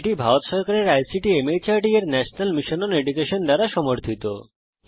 এটি ভারত সরকারের আইসিটি মাহর্দ এর ন্যাশনাল মিশন ওন এডুকেশন দ্বারা সমর্থিত